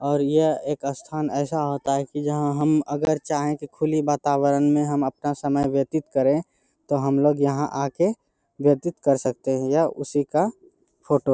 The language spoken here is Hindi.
और यह एक स्थान ऐसा होता है की जहाँ हम अगर चाहें तो खुली वातावरण में हम अपना समय व्यतीत करें तो हम लोग यहाँ आ के व्यतीत कर सकते हैं यह उसी का फोटो --